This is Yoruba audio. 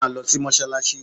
Máa lọ sí Mọ́sálásí!